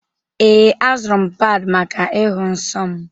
Ee, azụrụ m pad maka ịhụ nsọ m.